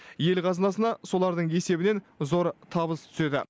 ел қазынасына солардың есебінен зор табыс түседі